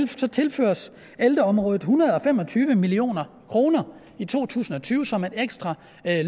så tilføres ældreområdet en hundrede og fem og tyve million kroner i to tusind og tyve som et ekstra